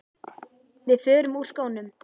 Við förum úr skónum.